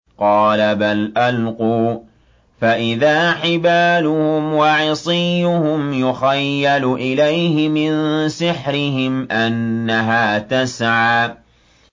قَالَ بَلْ أَلْقُوا ۖ فَإِذَا حِبَالُهُمْ وَعِصِيُّهُمْ يُخَيَّلُ إِلَيْهِ مِن سِحْرِهِمْ أَنَّهَا تَسْعَىٰ